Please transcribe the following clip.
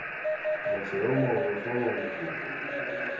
motho yo mongwe foo mokopi